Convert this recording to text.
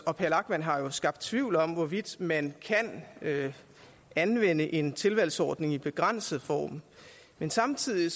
og per lachmann har jo skabt tvivl om hvorvidt man kan anvende en tilvalgsordning i begrænset form men samtidig